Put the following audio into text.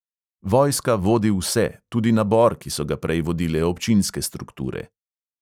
Vojska vodi vse, tudi nabor, ki so ga prej vodile občinske strukture.